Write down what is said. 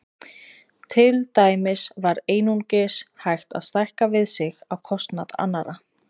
Til dæmis var einungis hægt að stækka við sig á kostnað annarra.